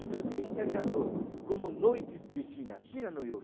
Então tem historiador, como Noites de China, China no